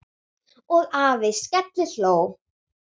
Og afi skellihló.